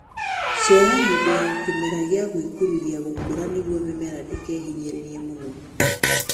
Ceha hĩndĩ ya kĩmera gia gwĩkururia gũkũra nĩguo mĩmera ndĩkehinyĩrĩrie mũno